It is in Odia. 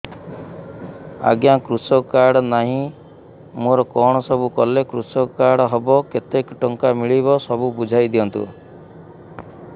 ଆଜ୍ଞା କୃଷକ କାର୍ଡ ନାହିଁ ମୋର କଣ ସବୁ କଲେ କୃଷକ କାର୍ଡ ହବ କେତେ ଟଙ୍କା ମିଳିବ ସବୁ ବୁଝାଇଦିଅନ୍ତୁ